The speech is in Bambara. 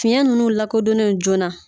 Fiɲɛ ninnu lakodɔnnen joona